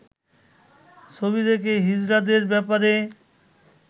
ছবি দেখে হিজড়াদের ব্যাপারে